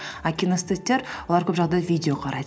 а кинестеттер олар көп жағдайда видеолар қарайды